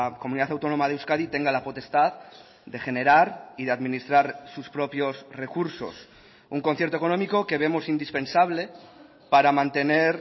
comunidad autónoma de euskadi tenga la potestad de generar y de administrar sus propios recursos un concierto económico que vemos indispensable para mantener